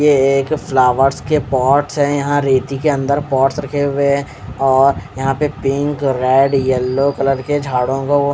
ये एक फ्लावर्स के पॉट है यहाँ रेती के अंदर पॉट्स रखे हुए है और यहाँ पर पेंट कर रहा है येल्लो कलर के झाड़ो को ओ--